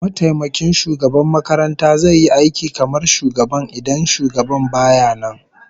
Mataimakin shugaban makaranta zai yi aiki kamar shugaban idan shugaban baya nan